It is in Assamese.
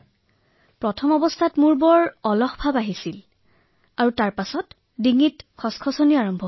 মই আৰম্ভণিৰ পৰ্যায়ত অত্যাধিক আলস্য ভাৱ অনুভৱ কৰিছিলো আৰু তাৰ পিছত মোৰ ডিঙিত অলপ বিষ যেন হৈছিল